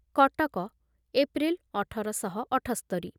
Cuttack April ଅଠର ଶହ ଅଠସ୍ତରିରେ